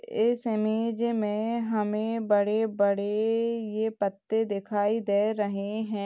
इस इमेज में हमें बड़े-बड़े ये पत्ते दिखाई दे रहे हैं।